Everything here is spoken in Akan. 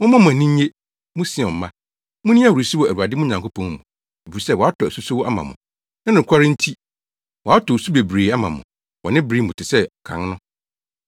Momma mo ani nnye, mo Sion mma, Munni ahurusi wɔ Awurade mo Nyankopɔn mu, efisɛ watɔ asusowsu ama mo, ne nokwaredi nti. Watɔ osu bebree ama mo wɔ ne bere mu te sɛ kan no.